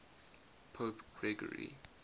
pope gregory